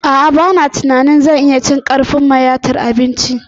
A'a ba na tunanin zan iya cin karfin mayatar cin abinci na